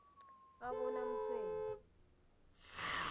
abonamtshweni